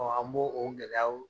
an b'o o gɛlɛyaw